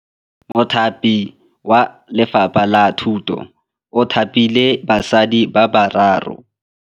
Mothapi wa Lefapha la Thutô o thapile basadi ba ba raro.